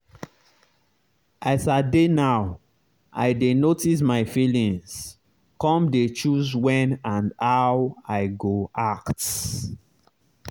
as i dey now i dey notice my feelings come dey choose when and how i go act.